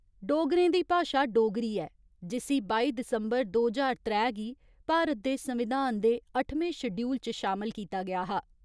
डोगरें दी भाशा डोगरी ऐ, जिस्सी बाई दिसंबर, दो ज्हार त्रै गी भारत दे संविधान दे अट्ठमें श्डयूल च शामल कीता गेआ हा।